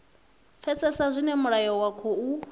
pfesesa zwine mulayo wa khou